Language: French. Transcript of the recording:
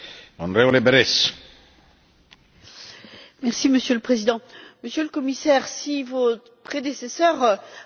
Monsieur le Président, Monsieur le Commissaire, si vos prédécesseurs avaient écouté ce Parlement européen, nous n'en serions pas là.